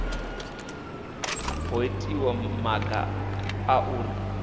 ho itiwa maga a uri